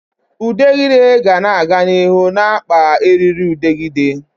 Udegịde ga-aga n'ihu na-akpa eririudegide